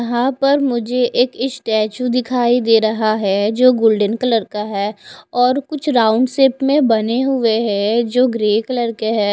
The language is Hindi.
यहा पर मुझे एक स्टेचू दिखाई दे रहा है जो गोल्डन कलर का है और कुछ राउंड शेप में बने हुए है जो ग्रे कलर के है।